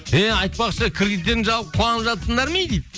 еее айтпақшы кредиттерің жабылып қуанып жатырсыңдар ма ей дейді